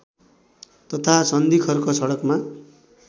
तथा सन्धिखर्क सडकमा